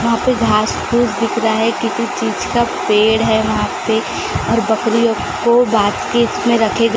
वहां पे घास फूस दिख रहा है किसी चीज का पेड़ है वहां पे और बकरियों को बास्केट में रखे गए--